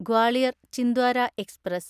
Gwalior Chhindwara express